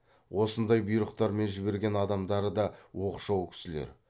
осындай бұйрықтармен жіберген адамдары да оқшау кісілер